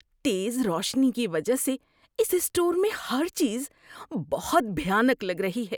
تیز روشنی کی وجہ سے اس اسٹور میں ہر چیز بہت بھیانک لگ رہی ہے۔